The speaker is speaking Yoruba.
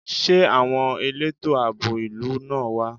Ṣé àwọn elétò àbò ìlú náà wá?